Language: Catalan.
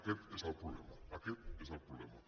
aquest és el problema aquest és el problema